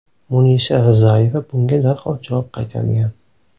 Munisa Rizayeva bunga darhol javob qaytargan.